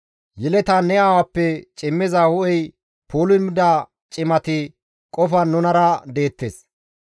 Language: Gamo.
Yeletan ne aawappe cimmiza hu7ey pulumida cimati qofan nunara deettes.